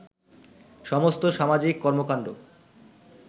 সমস্ত সামাজিক কর্মকান্ড